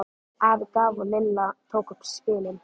Afi gaf og Lilla tók upp spilin.